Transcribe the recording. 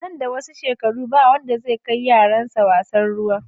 Nan da wasu shekaru ba wanda zai kai yaransa wasan ruwa.